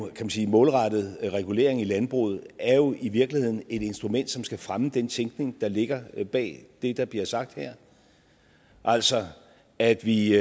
målrettet regulering i landbruget er jo i virkeligheden et instrument som skal fremme den tænkning der ligger bag det der bliver sagt her altså at vi